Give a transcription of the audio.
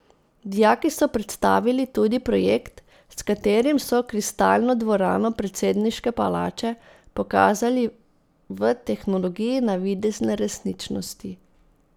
Dijaki so predstavili tudi projekt, s katerim so kristalno dvorano predsedniške palače pokazali v tehnologiji navidezne resničnosti.